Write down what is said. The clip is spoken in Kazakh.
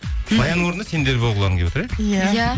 баянның орнында сендер болғыларың келіп отыр иә иә